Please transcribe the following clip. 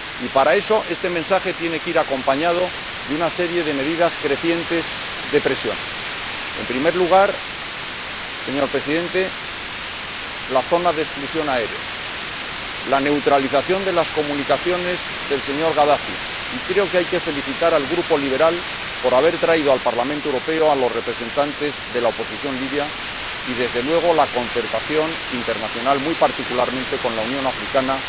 Y, para eso, este mensaje tiene que ir acompañado de una serie de medidas crecientes de presión en primer lugar, señor Presidente, la zona de exclusión aérea, la neutralización de las comunicaciones del señor Gadafi —y creo que hay que felicitar al Grupo ALDE por haber traído al Parlamento Europeo a los representantes de la oposición libia— y, desde luego, la concertación internacional, muy particularmente con la Unión Africana